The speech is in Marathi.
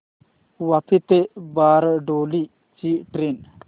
वापी ते बारडोली ची ट्रेन